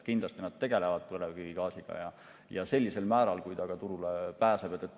Kindlasti tegelevad nad põlevkivigaasiga, sellisel määral, kui see turule pääseb.